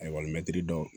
Ayiwa mɛtiri dɔn